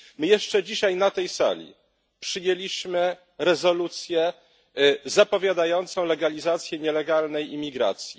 My jeszcze dzisiaj na tej sali przyjęliśmy rezolucję zapowiadającą legalizację nielegalnej imigracji.